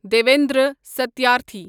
Devendra Satyarthi